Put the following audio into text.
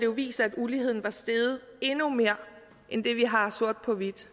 vist sig at uligheden var steget endnu mere end det vi har sort på hvidt